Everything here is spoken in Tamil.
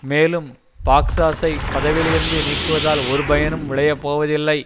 மேலும் பக்ஸாஸை பதவியிலிருந்து நீக்குவதால் ஒரு பயனும் விளையப்போவதில்லை